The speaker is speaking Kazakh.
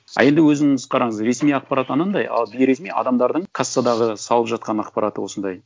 а енді өзіңіз қараңыз ресми ақпарат анандай ал бимресми адамдардың кассадағы салып жатқан ақпараты осындай